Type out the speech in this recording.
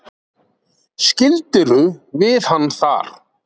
Skildirðu við hann þar?